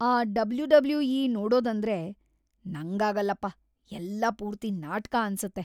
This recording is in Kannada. ಆ ಡಬ್ಲ್ಯೂ.ಡಬ್ಲ್ಯೂ.ಇ. ನೋಡೋದಂದ್ರೆ ನಂಗಾಗಲ್ಲಪ್ಪ, ಎಲ್ಲ ಪೂರ್ತಿ ನಾಟ್ಕ ಅನ್ಸುತ್ತೆ.